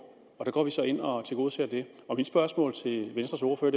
og vi går så ind og tilgodeser det mit spørgsmål til venstres ordfører